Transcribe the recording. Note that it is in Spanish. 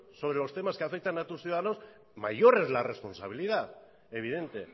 sobre los temas que afectan a tus ciudadanos mayor es la responsabilidad evidente